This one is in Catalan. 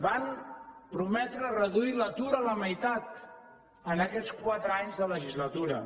van prometre reduir l’atur a la meitat en aquests quatre anys de legislatura